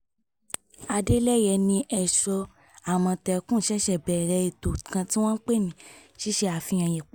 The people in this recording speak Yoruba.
adeleye ni èso àmọ̀tẹ́kùn ṣẹ̀ṣẹ̀ bẹ̀rẹ̀ ètò kan tí wọ́n pè ní ṣíṣe àfihàn ipa